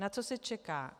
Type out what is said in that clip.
Na co se čeká?